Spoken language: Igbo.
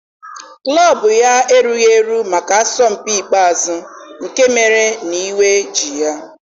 Klọb ya erughị eru maka asọmpi ikpeazụ nke mere na iwe ji ya.